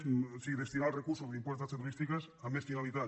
o sigui destinar els recursos de l’impost de ta·xes turístiques a més finalitats